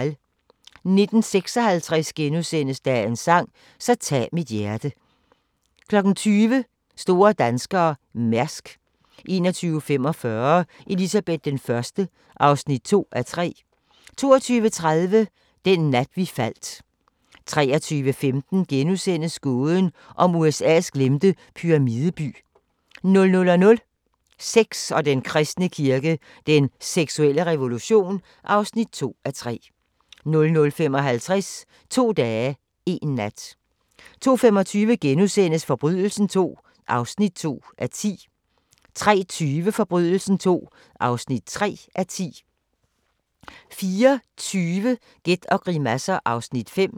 19:56: Dagens sang: Så tag mit hjerte * 20:00: Store danskere – Mærsk 21:45: Elizabeth I (2:3) 22:30: Den nat vi faldt 23:15: Gåden om USA's glemte pyramideby * 00:00: Sex og den kristne kirke – den seksuelle revolution (2:3) 00:55: To dage, én nat 02:25: Forbrydelsen II (2:10)* 03:20: Forbrydelsen II (3:10) 04:20: Gæt og grimasser (Afs. 5)